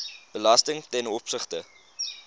belasting ten opsigte